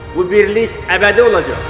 Bu birlik əbədi olacaq.